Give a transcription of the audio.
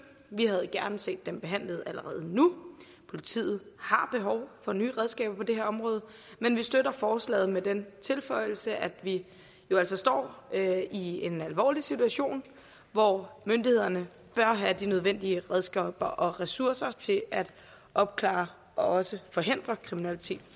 vi havde gerne set dem behandlet allerede nu politiet har behov for nye redskaber på det her område men vi støtter forslaget med den tilføjelse at vi jo altså står i en alvorlig situation hvor myndighederne bør have de nødvendige redskaber og ressourcer til at opklare og også forhindre kriminalitet